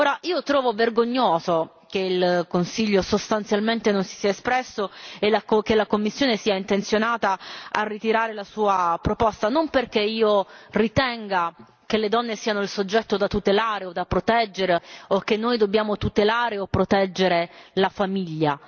Ora, io trovo vergognoso che il Consiglio sostanzialmente non si sia espresso e che la Commissione sia intenzionata a ritirare la sua proposta, non perché io ritenga che le donne siano il soggetto da tutelare o da proteggere o che noi dobbiamo tutelare o proteggere la famiglia.